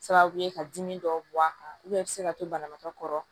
Sababu ye ka dimi dɔw bɔ a kan i bɛ se ka to banabaatɔ kɔrɔ